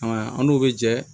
A an n'u bɛ jɛ